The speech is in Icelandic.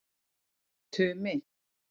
Tumi